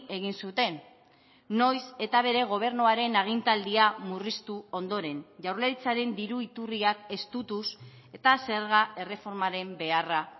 egin zuten noiz eta bere gobernuaren agintaldia murriztu ondoren jaurlaritzaren diru iturriak estutuz eta zerga erreformaren beharra